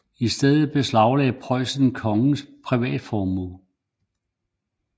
I stedet beslagde Preussen kongens privatformue